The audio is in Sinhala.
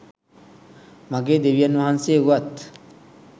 මගේ දෙවියන් වහන්සේ වුවත්,